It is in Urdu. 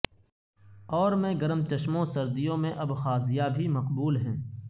اور میں گرم چشموں سردیوں میں ابخازیہ بھی مقبول ہیں